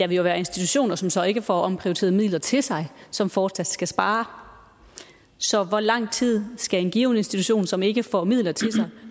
vil jo være institutioner som så ikke får omprioriteret midler til sig som fortsat skal spare så hvor lang tid skal en given institution som ikke får midler til sig